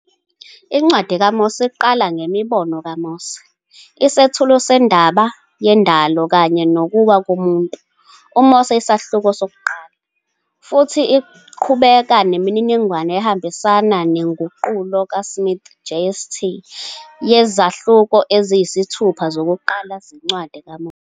Incwadi kaMose iqala "ngeMibono kaMose," isethulo sendaba yendalo kanye nokuwa komuntu, uMose isahluko 1, futhi iqhubeka nemininingwane ehambisana nenguqulo kaSmith, JST, yezahluko eziyisithupha zokuqala zencwadi kaMose.